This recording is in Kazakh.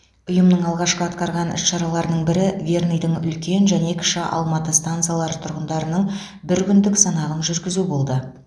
ұйымның алғашқы атқарған іс шараларының бірі верныйдың үлкен және кіші алматы стансалары тұрғындарының бір күндік санағын жүргізу болды